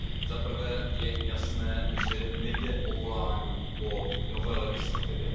Za prvé je jasné, že nejde o volání po nové legislativě.